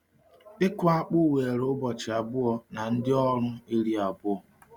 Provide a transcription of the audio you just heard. Ịkụ akpụ were ụbọchị abụọ na ndị ọrụ iri abụọ.